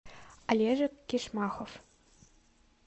олежек кишмахов